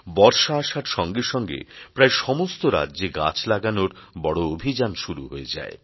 বর্ষা আসার সঙ্গে সঙ্গে প্রায় সমস্ত রাজ্যে গাছ লাগানোর বড় অভিযান শুরু হয়ে যায়